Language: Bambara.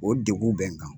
O deguw bɛ n kan